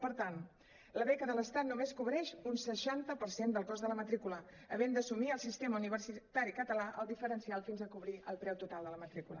per tant la beca de l’estat només cobreix un seixanta per cent del cost de la matrícula havent d’assumir el sistema universitari català el diferencial fins a cobrir el preu total de la matrícula